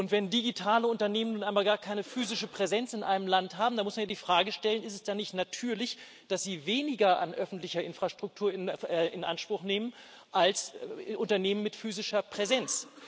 Wenn digitale Unternehmen nun einmal gar keine physische Präsenz in einem Land haben, da muss man ja die Frage stellen Ist es da nicht natürlich, dass sie weniger an öffentlicher Infrastruktur in Anspruch nehmen als Unternehmen mit physischer Präsenz?